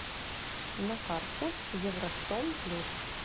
на карте евростом плюс